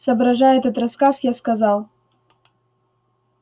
соображая этот рассказ я сказал